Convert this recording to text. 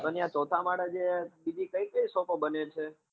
પણ ત્યાં ચોથા માળે જે બીજી કઈ કઈ shop બને છે?